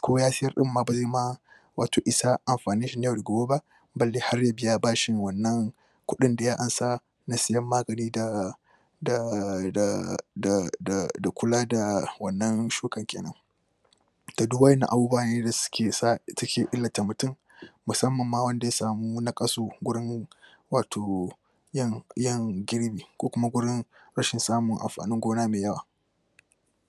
ko ya sayar din ma wato isa amfanin shi na yau da gobe ba balle har ya biya bashin wannan kudin da ya ansa na sayan magani da da kula da wannan shuka kenan da duk wadannan abubuwan da suke sa, ke illata mutum musamman ma wanda ya samu na kan su wurin wato yin girbi ko kuma wurin